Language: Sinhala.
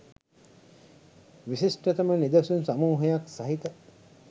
විශිෂ්ටතම නිදසුන් සමූහයක් සහිත